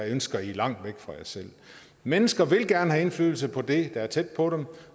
ønsker langt væk fra sig selv mennesker vil gerne have indflydelse på det der er tæt på dem